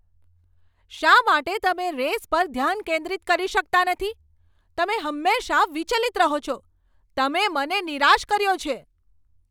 શા માટે તમે રેસ પર ધ્યાન કેન્દ્રિત કરી શકતા નથી? તમે હંમેશા વિચલિત રહો છો. તમે મને નિરાશ કર્યો છે.